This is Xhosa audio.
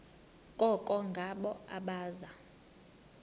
koko ngabo abaza